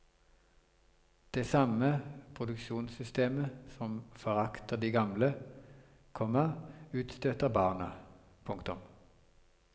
Det samme produksjonssystemet som forakter de gamle, komma utstøter barna. punktum